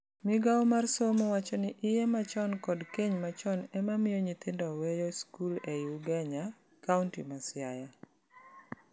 Migao mar somo wacho ni iye machon kod keny machon ema mio nyithindo weyo skul ei Ugenya, kaunti ma Siaya.